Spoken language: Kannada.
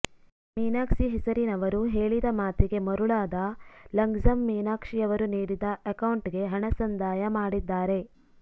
ಮೀನಾಕ್ಷಿ ಹೆಸರಿನವರು ಹೇಳಿದ ಮಾತಿಗೆ ಮರುಳಾದ ಲಂಗ್ಜಮ್ ಮೀನಾಕ್ಷಿಯವರು ನೀಡಿದ ಅಕೌಂಟ್ ಗೆ ಹಣ ಸಂದಾಯ ಮಾಡಿದ್ದಾರೆ